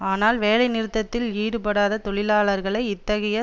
ஆனால் வேலைநிறுத்தத்தில் ஈடுபடாத தொழிலாளர்களை இத்தகைய